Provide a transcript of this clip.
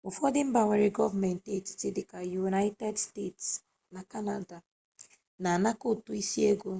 n'ufodu mba nwere goomenti etiti dika united states na canada ana anako utu isi ego